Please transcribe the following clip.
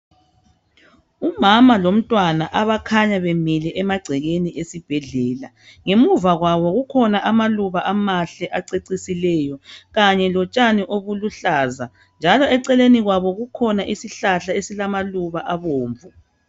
Umama lomntwana abakhanya bemile emagcekeni esibhedlela. Ngemuva kwabo kukhona amaluba amahle acecisileyo kanye lotshani obuluhlaza njalo eceleni kwabo kukhona isihlahla esilama luba abomvu.